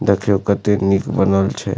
देखियो कते निक बनल छै।